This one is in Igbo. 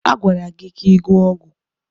A gwara gị ka ị gụọ ọgwụ.